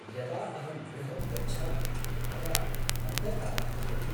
यदा अहं गृहं गच्छामि तदा अन्धकारः भवति।